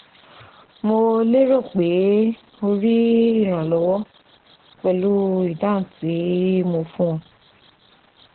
Mo lérò pé o rí ìrànlọ́wọ́ pẹ̀lú ìdáhùn tí mo fún ọ